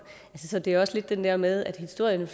så det er også lidt det der med at historien jo